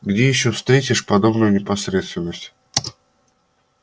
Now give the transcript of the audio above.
где ещё встретишь подобную непосредственность